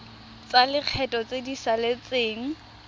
tsa lekgetho tse di saletseng